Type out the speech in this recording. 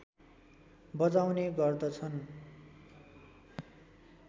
बजाउने गर्दछन्